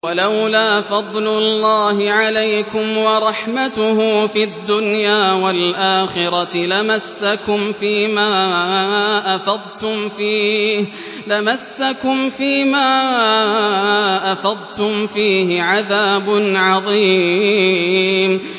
وَلَوْلَا فَضْلُ اللَّهِ عَلَيْكُمْ وَرَحْمَتُهُ فِي الدُّنْيَا وَالْآخِرَةِ لَمَسَّكُمْ فِي مَا أَفَضْتُمْ فِيهِ عَذَابٌ عَظِيمٌ